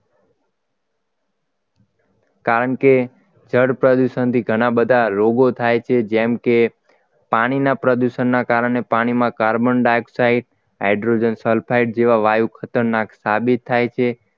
કારણ કે જળ પ્રદોષણ થી ઘણા બધા રોગો થાય છે જેમ કે પાણીના પ્રદૂષણના કારણે પાણીમાં કાર્બન ડાયોક્સાઇડ હાઇડ્રોજન સલ્ફાઇડ વાયુ ખતરનાકતા સાબિત થાય છે